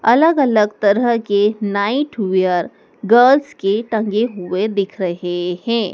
अलग अलग तरह के नाइटवेयर गर्ल्स के टंगे हुए दिख रहे है।